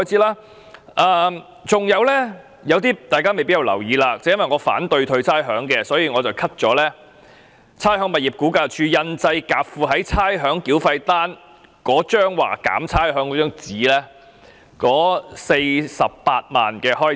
還有大家未必注意到的，正因為我反對退還差餉，所以我提出削減差餉物業估價署印製夾附於差餉繳費單的單張以解釋差餉寬減安排的共48萬元預算開支。